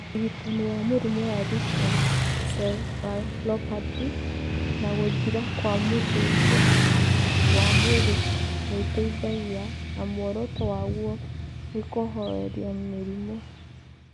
Ũrigitani wa mũrimũ wa leukencephalopathy na gũthira kwa mũthũngũ wa mwĩrĩ nĩ ũteithagia, na muoroto waguo nĩ kũhooreria mĩrimũ.